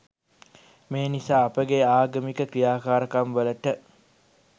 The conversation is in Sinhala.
මේ නිසා අපගේ ආගමික ක්‍රියාකාරකම්වලට